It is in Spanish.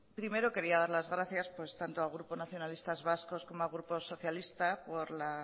primero quería dar las gracias tanto al grupo nacionalistas vascos como al grupo socialista por la